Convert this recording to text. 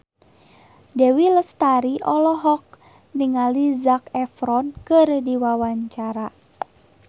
Dewi Lestari olohok ningali Zac Efron keur diwawancara